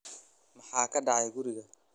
Maxaa ka dhacaya guriga?